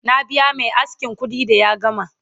na biya Mai askin kuɗi da ya gama